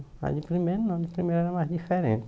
Mas de primeiro não, de primeiro era mais diferente.